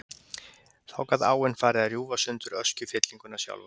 Þá gat áin farið að rjúfa sundur öskjufyllinguna sjálfa.